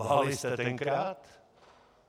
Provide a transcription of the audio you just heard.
Lhali jste tenkrát?